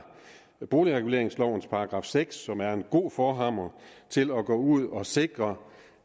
boligreguleringslovens § seks som er en god forhammer til at gå ud og sikre